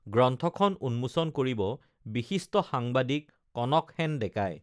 গ্ৰন্থখন উন্মোচন কৰিব বিশিষ্ট সাংবাদিক কনকসেন ডেকাই